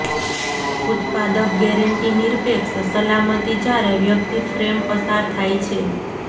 ઉત્પાદક ગેરંટી નિરપેક્ષ સલામતી જ્યારે વ્યક્તિ ફ્રેમ પસાર થાય છે